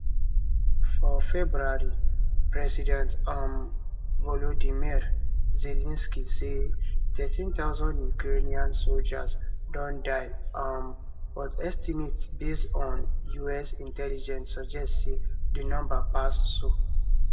for february president um volodymyr zelensky say 31000 ukrainian soldiers don die um but estimates based on us intelligence suggest say di number pass so